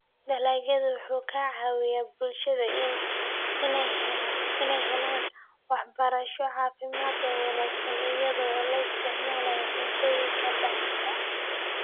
Dalaggu wuxuu ka caawiyaa bulshada inay helaan waxbarasho caafimaad oo wanaagsan iyadoo la isticmaalayo cuntooyinka dhaqanka.